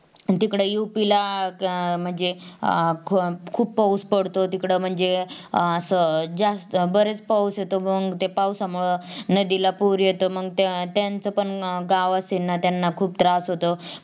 तिकडं UP ला म्हणजे अं खूप पाऊस पडतो तिकडं म्हणजे अं असा जास्त बरेच पाऊस येतो मंग त्या पाऊसामुळ नदीला पूर येतो मंग त्यांचा पण गाव असेल तर त्यांना पण खूप त्रास होतो.